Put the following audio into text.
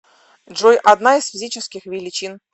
джой одна из физических величин